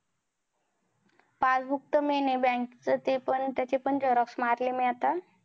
passbook तर main आहे bank च ते पण तेच पण xerox मारले मी आता